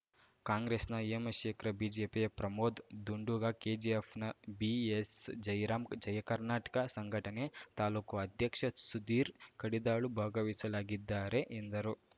ಕಾಂಗ್ರೆಸ್‌ನ ಹೇಮಶೇಖರ ಬಿಜೆಪಿಯ ಪ್ರಮೋದ್‌ ದುಂಡುಗ ಕೆಜಿಎಫ್‌ನ ಬಿಎಸ್‌ಜಯರಾಂ ಜಯಕರ್ನಾಟಕ ಸಂಘಟನೆ ತಾಲೂಕು ಅಧ್ಯಕ್ಷ ಸುಧೀರ್‌ ಕಡಿದಾಳು ಭಾಗವಹಿಸಲಾಗಿದ್ದಾರೆ ಎಂದರು